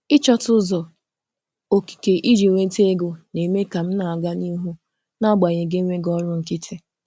Ịchọta ụzọ okike iji nweta okike iji nweta ego na-eme ka m na-aga n’ihu n’agbanyeghị enweghị ọrụ nkịtị.